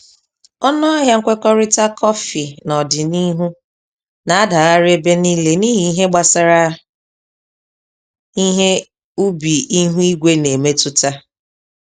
Ọnụ ahịa nkwekọrịta kọfị n'ọdịniihu na-adagharị ebe niile n'ihi ihe gbasara ihe ubi ihu igwe na-emetụta.